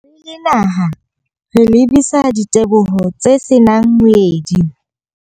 Re le naha, re lebisa diteboho tse se nang moedi ho.